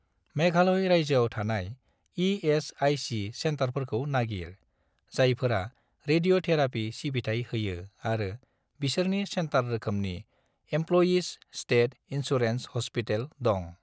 मेघालय रायजोआव थानाय इ.एस.आइ.सि. सेन्टारफोरखौ नागिर, जायफोरा रेडिय'थेराफि सिबिथाय होयो आरो बिसोरनि सेन्टार रोखोमनि इमप्ल'यिज स्टेट इन्सुरेन्स ह'स्पिटेल दं।